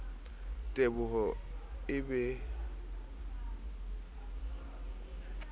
teboho e be hempe e